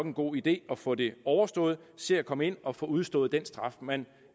en god idé at få det overstået se at komme ind og få udstået den straf man